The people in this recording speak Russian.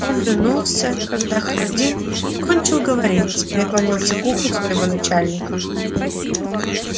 он вернулся когда хардин кончил говорить и наклонился к уху своего начальника